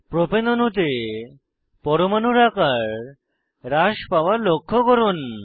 propane অণুতে পরমাণুর আকার হ্রাস পাওয়া লক্ষ্য করুন